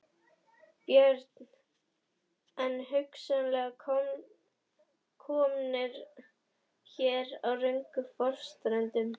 Björn: En hugsanlega komnir hér á röngum forsendum?